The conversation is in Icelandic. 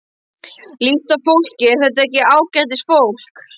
Líttu á fólkið, er þetta ekki ágætisfólk?